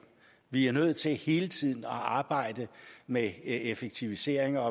vi er nødt til hele tiden at arbejde med effektiviseringer